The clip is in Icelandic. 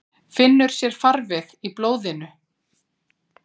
Finnur sér farveg í blóðinu.